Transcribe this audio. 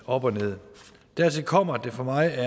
op og nederst dertil kommer at det for mig at